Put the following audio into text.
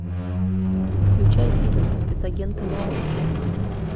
включай фильм спецагенты на отдыхе